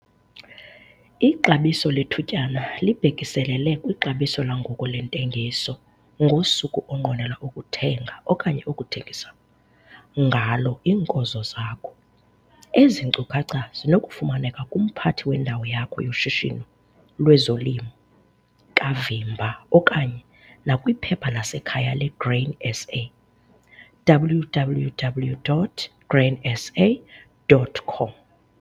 Ixabiso lethutyana libhekiselele kwixabiso langoku lentengiso ngosuku onqwenela ukuthenga okanye ukuthengisa ngalo iinkozo zakho. Ezi nkcukacha zinokufumaneka kumphathi wendawo yakho yoshishino lwezolimo kavimba okanye nakwiphepha lasekhaya leGrain SA, www.grainsa.com.